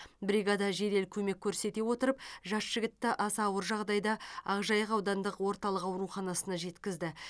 бригада жедел көмек көрсете отырып жас жігітті аса ауыр жағдайда ақжайық аудандық орталық ауруханасына жеткізді